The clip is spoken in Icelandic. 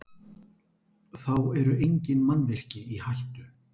Þá eru engin mannvirki í hættu